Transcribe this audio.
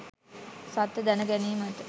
සත්‍ය දැන ගැනීමට